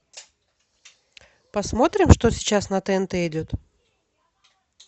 посмотрим что сейчас на тнт идет